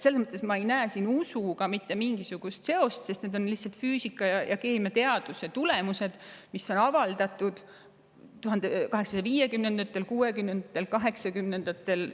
Selles mõttes ei näe ma siin usuga mitte mingisugust seost, sest need on lihtsalt füüsika- ja keemiateaduse tulemused, mis on avaldatud 1850-ndatel, 1860-ndatel ja 1880-ndatel järjest.